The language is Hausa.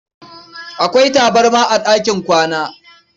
Akwai tabarma a ɗakin kwana.